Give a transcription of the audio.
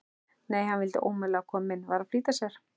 Nei, hann vildi ómögulega koma inn, var að flýta sér.